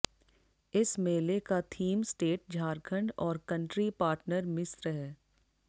इस मेले का थीम स्टेट झारखंड और कंट्री पार्टनर मिस्र है